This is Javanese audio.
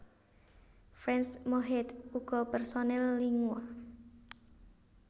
Frans Mohede uga personèl Lingua